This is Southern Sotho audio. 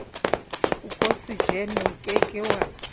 okosejene o ke ke wa